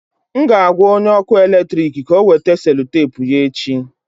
M ga-agwa onye ọkụ eletrik ka ọ weta selutepu ya echi